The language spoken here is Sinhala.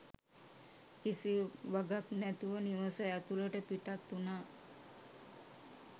කිසි වගක් නැතුව නිවස ඇතුළට පිටත් වුනා